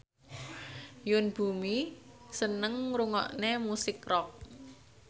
Yoon Bomi seneng ngrungokne musik rock